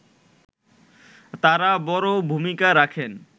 তারা বড় ভূমিকা রাখেন